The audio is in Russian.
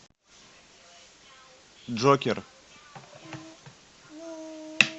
джокер